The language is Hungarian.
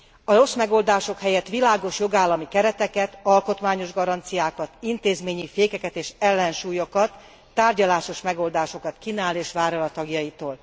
A rossz megoldások helyett világos jogállami kereteket, alkotmányos garanciákat, intézményi fékeket és ellensúlyokat, tárgyalásos megoldásokat kínál és vár el a tagjaitól.